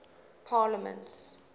parliaments